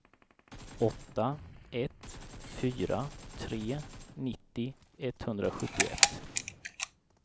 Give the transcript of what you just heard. åtta ett fyra tre nittio etthundrasjuttioett